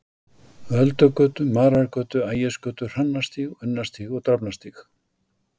Öldugötu, Marargötu, Ægisgötu, Hrannarstíg, Unnarstíg, Drafnarstíg.